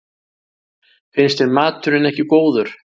Finnst þér maturinn ekki góður?